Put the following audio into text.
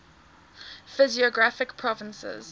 physiographic provinces